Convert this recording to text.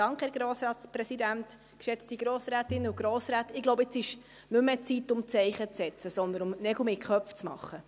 Ich glaube, jetzt ist nicht mehr die Zeit, um Zeichen zu setzen, sondern um Nägel mit Köpfen zu machen.